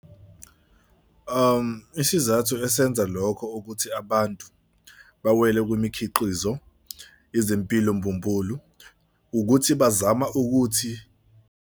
Isizathu esenza lokho ukuthi abantu bawela kwimikhiqizo izimpilo mbumbulu ukuthi bazama ukuthi.